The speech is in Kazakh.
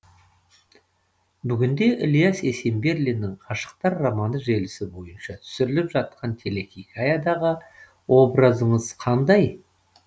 бүгін де ілияс есенберлиннің ғашықтар романы желісі бойынша түсіріліп жатқан телехикаядағы образыңыз қандай